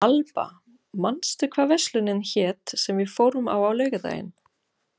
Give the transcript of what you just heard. Alba, manstu hvað verslunin hét sem við fórum í á laugardaginn?